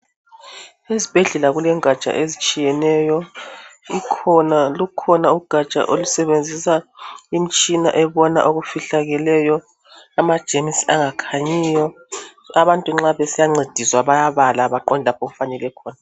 Esibhedlela kulengatsha ezitshiyeneyo ikhona lukhona ugatsha olusebenzisa imitshina ebona okufihlakeleyo amajemusi angakhanyiyo abantu nxa besiya ncediswa bayabala baqonde lapho okufanele khona .